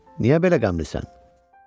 Niyə belə qəmlisən?"